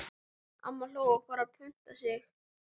Amma hló og fór að punta sig.